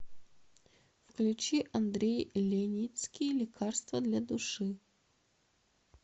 включи андрей леницкий лекарство для души